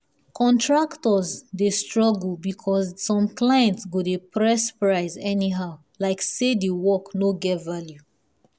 contractors dey struggle because some clients go dey press price anyhow like say the work no get value.